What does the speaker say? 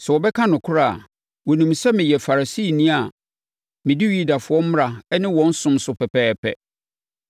Sɛ wɔbɛka nokorɛ a, wɔnim sɛ meyɛ Farisini a medi Yudafoɔ mmara ne wɔn som so pɛpɛɛpɛ.